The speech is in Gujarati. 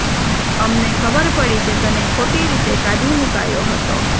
અમને ખબર પડી કે તને ખોટી રીતે કાઢી મુકાયો હતો